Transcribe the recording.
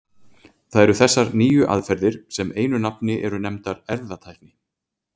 Það eru þessar nýju aðferðir sem einu nafni eru nefndar erfðatækni.